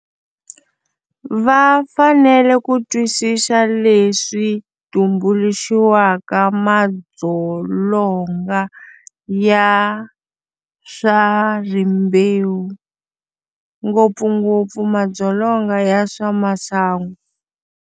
Va fanele ku twisisa leswi tumbuluxiwaka madzolonga ya swa rimbewu, ngopfungopfu madzolonga ya swa masangu.